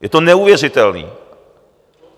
Je to neuvěřitelný.